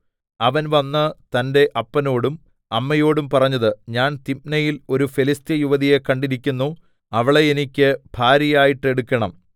അവൻ വന്ന് തന്റെ അപ്പനോടും അമ്മയോടും പറഞ്ഞത് ഞാൻ തിമ്നയിൽ ഒരു ഫെലിസ്ത്യയുവതിയെ കണ്ടിരിക്കുന്നു അവളെ എനിക്ക് ഭാര്യയായിട്ട് എടുക്കണം